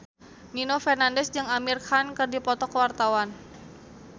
Nino Fernandez jeung Amir Khan keur dipoto ku wartawan